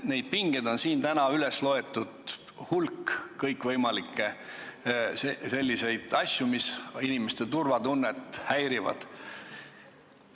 Neid pingeid on siin täna üles loetud hulk, on kõikvõimalikke asju, mis inimeste turvatunnet häirivad.